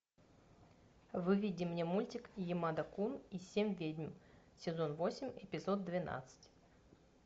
выведи мне мультик ямада кун и семь ведьм сезон восемь эпизод двенадцать